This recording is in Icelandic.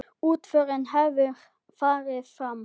Útförin hefur farið fram.